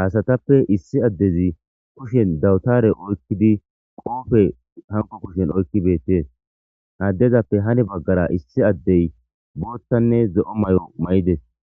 haasatappe issi addezi kushen dawutare oykkidi qoofe hanko kushen oykki beettees addezappe hane baggara issi addey boottanne ze'o may'o may'ides.